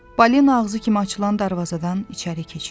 Balina ağzı kimi açılan darvazadan içəri keçirik.